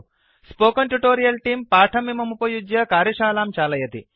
spoken tutorial तेऽं पाठमिममुपयुज्य कार्यशालां चालयति